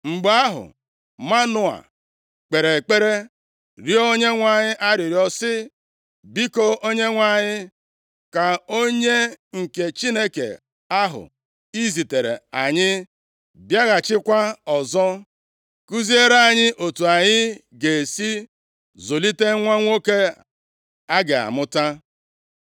Mgbe ahụ, Manoa kpere ekpere rịọọ Onyenwe anyị arịrịọ sị, “Biko, Onyenwe anyị, ka onye nke Chineke ahụ i ziteere anyị bịaghachikwa ọzọ, kuziere anyị otu anyị ga-esi zụlite nwa nwoke a ga-amụta.”